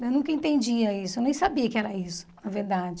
Eu nunca entendia isso, eu nem sabia que era isso, na verdade.